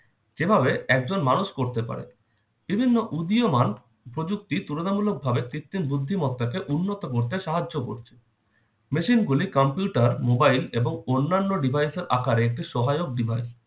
যেভাবে একজন মানুষ করতে পারে বিভিন্ন উদীয়মান প্রযুক্তি তুলনামূলকভাবে কৃত্রিম বুদ্ধিমত্তাকে উন্নত করতে সাহায্য করছে। machine গুলি computer, mobile এবং অন্যান্য device এর আকারে একটি সহায়ক device